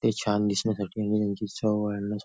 ते छान दिसण्यासाठी आणि त्याची चव वाढवण्या --